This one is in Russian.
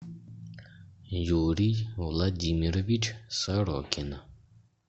юрий владимирович сорокин